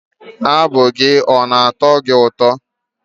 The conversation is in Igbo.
Abụ ya ọ na-atọ gị ụtọ?